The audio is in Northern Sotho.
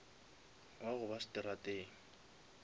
wa go ba seterateng